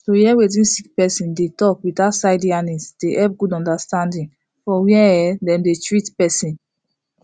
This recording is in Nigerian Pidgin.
to hear wetin sick person dey talk without side yarnings dey helep good understanding for where um dem dey treat persin